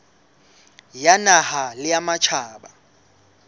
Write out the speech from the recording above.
ya naha le ya matjhaba